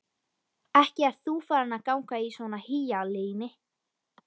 Ekki ert þú farin að ganga í svona hýjalíni?